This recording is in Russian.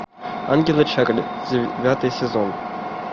ангелы чарли девятый сезон